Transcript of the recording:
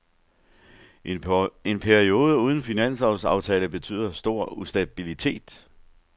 En periode uden finanslovsaftale betyder stor ustabilitet.